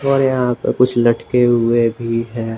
और यहां पे कुछ लटके हुए भी हैं।